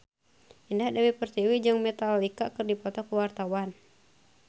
Indah Dewi Pertiwi jeung Metallica keur dipoto ku wartawan